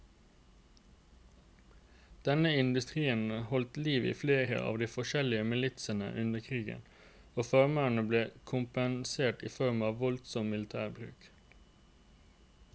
Denne industrien holdt liv i flere av de forskjellige militsene under krigen, og farmerne ble kompensert i form av voldsom militærmakt.